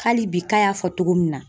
Hali bi k'a y'a fɔ cogo min na